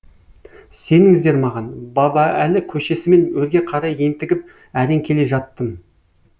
сеніңіздер маған баба әлі көшесімен өрге қарай ентігіп әрең келе жаттым